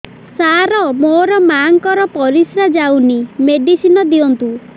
ସାର ମୋର ମାଆଙ୍କର ପରିସ୍ରା ଯାଉନି ମେଡିସିନ ଦିଅନ୍ତୁ